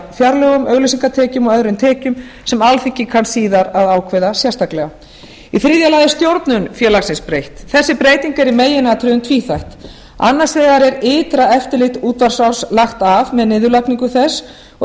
fjárlögum auglýsingatekjum og öðrum tekjum sem alþingi kann síðar að ákveða sérstaklega í þriðja lagi er stjórnun félagsins breytt þessi breyting er í meginatriðum tvíþætt annars vegar er ytra eftirlit útvarpsráðs lagt af með niðurlagningu þess og